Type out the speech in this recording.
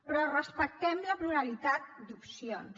però respectem la pluralitat d’opcions